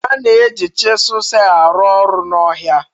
A na-eji chiselu sel arụ ọrụ n'ọhịa